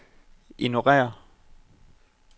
ignorér